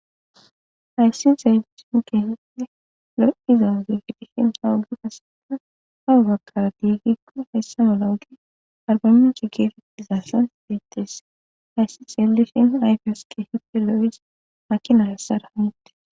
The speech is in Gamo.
hayssi xeyifin geehie lo7izawuze fitishin hawugi qasena hawugagkara diigikko hayssa malougi arbaminch geefetizassan diittes ayssi xelifin ayfiyos ke hippe lo7is makinalessara hanite